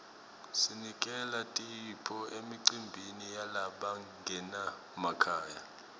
sinikela tipho emicimbini yalabangenamakhaya